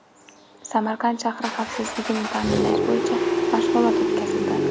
Samarqand shahri xavfsizligini ta’minlash bo‘yicha mashg‘ulot o‘tkazildi.